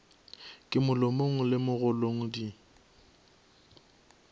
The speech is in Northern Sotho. ka molomong le mogolong di